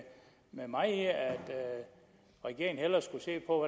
med mig i at regeringen hellere skulle se på